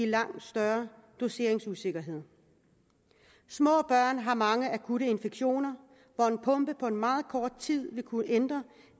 langt større doseringsusikkerhed små børn har mange akutte infektioner hvor en pumpe på meget kort tid vil kunne ændre